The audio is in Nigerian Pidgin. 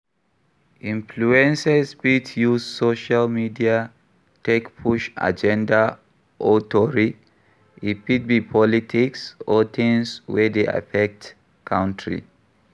Influences fit use social media take push agenda or tori, e fit be politics or things wey dey affect country